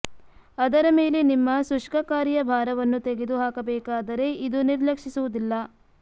ಅದರ ಮೇಲೆ ನಿಮ್ಮ ಶುಷ್ಕಕಾರಿಯ ಭಾರವನ್ನು ತೆಗೆದು ಹಾಕಬೇಕಾದರೆ ಇದು ನಿರ್ಲಕ್ಷಿಸುವುದಿಲ್ಲ